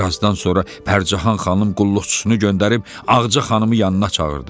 Bir azdan sonra Pərcəhan xanım qulluqçusunu göndərib Ağacə xanımı yanına çağırdı.